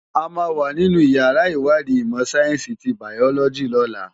Ámá wá ninú iyàrá iwádi imò sáyènsi ti báyólòji lòlá